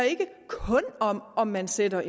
om at man sætter